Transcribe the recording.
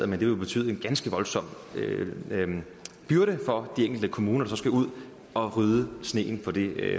men det ville betyde en ganske voldsom byrde for de enkelte kommuner der så skulle ud og rydde sneen på det